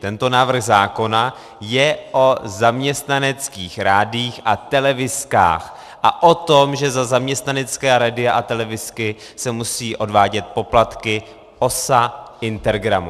Tento návrh zákona je o zaměstnaneckých rádiích a televizkách a o tom, že za zaměstnanecká rádia a televizky se musí odvádět poplatky OSA, Intergramu.